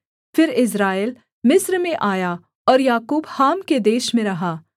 फिर इस्राएल मिस्र में आया और याकूब हाम के देश में रहा